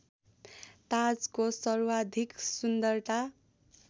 ताजको सर्वाधिक सुन्दरता